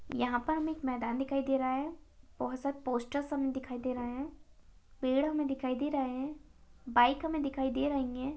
यहाँ पर हमे एक मैदान दिखाई दे रहा है बहुत सब पोस्टर्स हम दिखाई दे रहे है पेड़ हमे दिखाई दे रहे है बाईक हमे दिखाई दे रही है।